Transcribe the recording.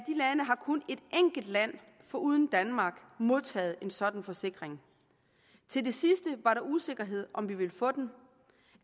lande har kun et enkelt land foruden danmark modtaget en sådan forsikring til det sidste var der usikkerhed om vi ville få den